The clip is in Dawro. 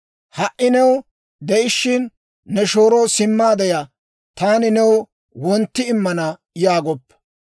Ha"i new de'ishiina, ne shooroo, «Simmaade ya; taani new wontti immana» yaagoppa.